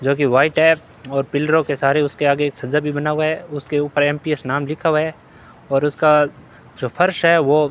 जोकि व्हाइट है और पिल्लरों के सारे उसके आगे एक झज्झर भी बना हुआ है उसके ऊपर एम पी एस नाम भी लिखा हुआ है और उसका जो फर्श है वो --